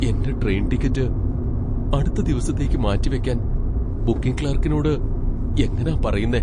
എന്റെ train ticket അടുത്ത ദിവസത്തേക്ക് മാറ്റിവയ്ക്കാൻ ബുക്കിംഗ് ക്ലർക്കിനോട് എങ്ങനാ പറയുന്നേ?